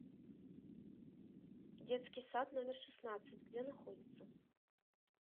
детский сад номер шестнадцать где находится